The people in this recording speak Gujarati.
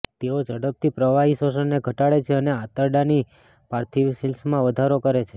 તેઓ ઝડપથી પ્રવાહી શોષણને ઘટાડે છે અને આંતરડાની પાર્થિવશિલ્સમાં વધારો કરે છે